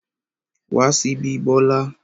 Wá síbí Bola!